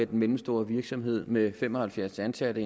den mellemstore virksomhed med fem og halvfjerds ansatte